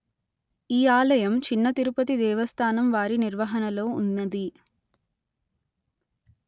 ఈ ఆలయం చిన్న తిరుపతి దేవస్థానం వారి నిర్వహణలో ఉన్నది